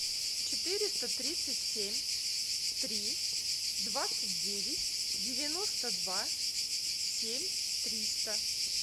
четыреста тридцать семь три двадцать девять девяносто два семь триста